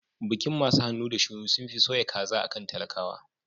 Bikin masu hannu da shuni sunfi soya kaza akan talakawa